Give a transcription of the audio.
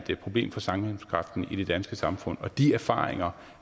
et problem for sammenhængskraften i det danske samfund og de erfaringer